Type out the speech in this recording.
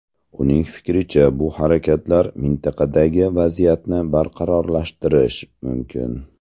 Uning fikricha, bu harakatlar mintaqadagi vaziyatni beqarorlashtirishi mumkin.